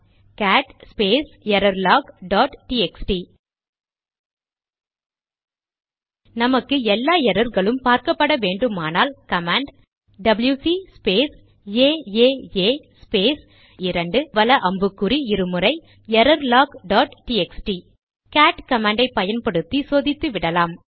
gate space error log dot TXT நமக்கு எல்லா எரர்களும் பார்க்கப்பட வேண்டுமானால் command WC space AAA space 2 வல அம்புக்குறி இரு முறை error log dot TXT cat command ஐ பயன்படுத்தி சோதித்துவிடலாம்